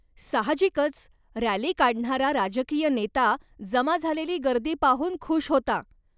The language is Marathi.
साहजिकच, रॅली काढणारा राजकीय नेता, जमा झालेली गर्दी पाहून खुश होता.